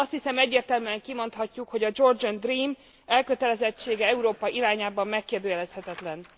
Azt hiszem, egyértelműen kimondhatjuk, hogy a Georgian Dream elkötelezettsége Európa irányában megkérdőjelezhetetlen.